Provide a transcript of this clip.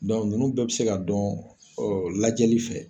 nunnu bɛɛ be se ka dɔn lajɛli fɛ.